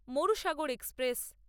Marusagar express